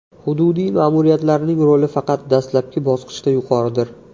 Hududiy ma’muriyatlarning roli faqat dastlabki bosqichda yuqoridir.